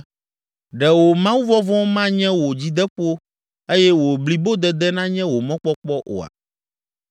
Ɖe wò Mawuvɔvɔ̃ manye wò dzideƒo eye wò blibodede nanye wò mɔkpɔkpɔ oa?